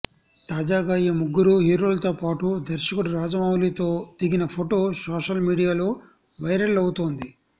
తాజాగా ఈ ముగ్గురు హీరోలతో పాటు దర్శకుడు రాజమౌళితో దిగిన ఫోటో సోషల్ మీడియాలో వైరల్ అవుతోంది